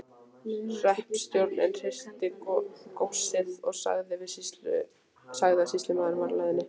Hreppstjórinn hirti góssið og sagði að sýslumaðurinn væri á leiðinni.